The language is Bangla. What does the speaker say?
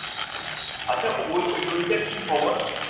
আচ্ছা ওই ওই ওইটার কি খবর?